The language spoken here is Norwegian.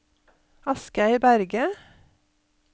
Asgeir Berge